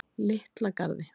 Litla Garði